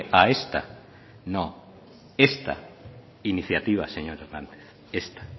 a esta no esta iniciativa señor hernández esta